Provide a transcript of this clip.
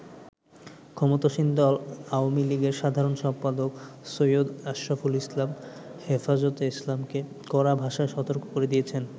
ক্ষমতাসীন দল আওয়ামী লীগের সাধারণ সম্পাদক সৈয়দ আশরাফুল ইসলাম হেফাজতে ইসলামকে কড়া ভাষায় সতর্ক করে দিয়েছেন।